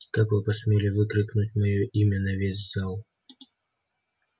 как вы посмели выкрикнуть моё имя на весь зал